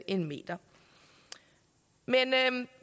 en meter men